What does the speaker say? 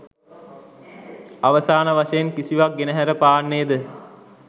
අවසාන වශයෙන් කිසිවක් ගෙනහැර පාන්නේ ද?